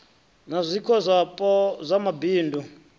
na zwiko zwapo sa mabindu